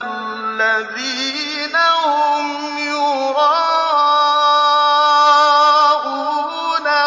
الَّذِينَ هُمْ يُرَاءُونَ